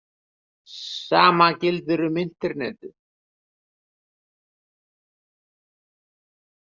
Sama gildir um Internetið.